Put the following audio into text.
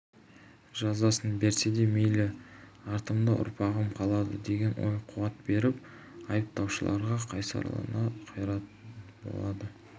жазасын берсе де мейлі артымда ұрпағым қалады деген ой қуат беріп айыптаушыларға қайсарлана қарайтын болады